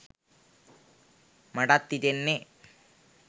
මටත් හිතෙන්නෙ